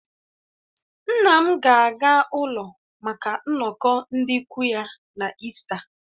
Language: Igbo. Nna m ga-aga ụlọ maka nnọkọ ndị ikwu ya na ịsta